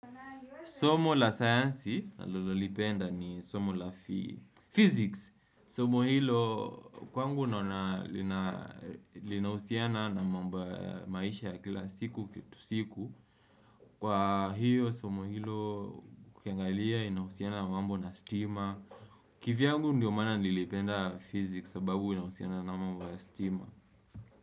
Somo la sayansi nalolipenda ni somo la physics. Somo hilo kwangu naona linahusiana na mambo ya maisha ya kila siku kitu siku. Kwa hiyo somo hilo ukiangalia inahusiana na mambo na stima. Kivyangu ndiyo maana nilipenda physics sababu inahusiana na mambo ya stima.